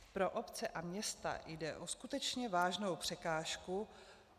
Pro obce a města jde o skutečně vážnou překážku.